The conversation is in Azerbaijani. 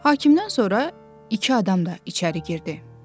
Hakimdən sonra iki adam da içəri girdi.